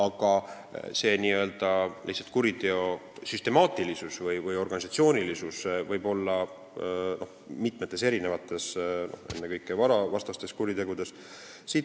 Aga selle kuriteo süstemaatilisus või organisatsioonilisus võib seisneda mitmetes, ennekõike varavastastes kuritegudes.